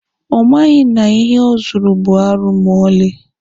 Ọ maghị na ihe o zuru bụ arụ ma ọlị.